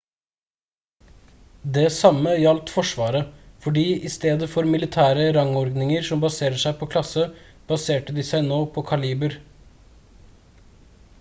det samme gjaldt forsvaret fordi i stedet for militære rangordninger som baserer seg på klasse baserte de seg nå på kaliber